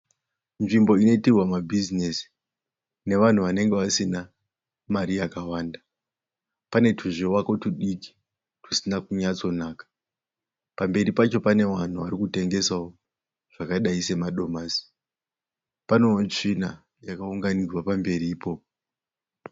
Nzvimbo inoitirwa ma bhizinesi nevanhu vanenge vasina mari yakawanda. Pane tuzvivako tudiki tusina kunyatso naka. Pamberi Pacho pane vanhu vari kutengesawo zvakadai semadomasi. Panewo tsvina yakaunganidzwa pamberi ipopo.